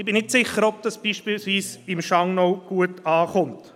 Ich bin nicht sicher, ob das beispielsweise im Schangnau gut ankommt.